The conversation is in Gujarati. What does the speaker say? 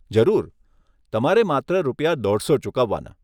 જરૂર, તમારે માત્ર રૂપિયા દોઢસો ચૂકવવાના.